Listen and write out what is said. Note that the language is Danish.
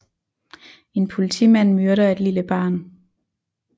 En politimand myrder et lille barn